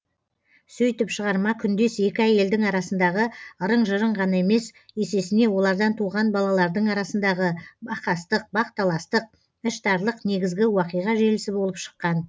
сөйтіп шығарма күндес екі әйелдің арасындағы ырың жырың ғана емес есесіне олардан туған балалардың арасындағы бақастық бақталастық іштарлық негізгі уақиға желісі болып шыққан